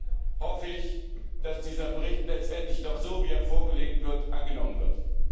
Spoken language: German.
Insofern hoffe ich, dass dieser Bericht letztendlich doch so, wie er vorgelegt wurde, angenommen wird.